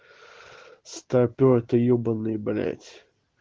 старпёр ты ёбанный блядь